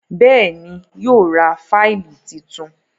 Béèni yíò rá Fáìlì títún.